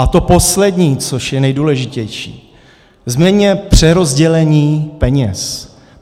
A to poslední, což je nejdůležitější, změňme přerozdělení peněz.